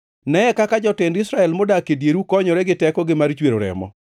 “ ‘Neye kaka jotend Israel modak e dieru konyore gi tekogi mar chwero remo.